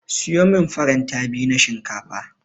Siyo min faranta biyu na shinkafa.